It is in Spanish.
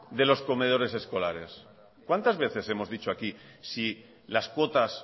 de los comedores escolares cuántas veces hemos dicho aquí si las cuotas